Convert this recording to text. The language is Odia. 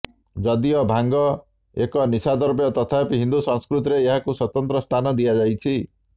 ଯଦିଓ ଭାଙ୍ଗ ଏକ ନିଶା ଦ୍ରବ୍ୟ ତଥାପି ହିନ୍ଦୁ ସଂସ୍କୃତିରେ ଏହାକୁ ସ୍ବତନ୍ତ୍ର ସ୍ଥାନ ଦିଆଯାଇଛି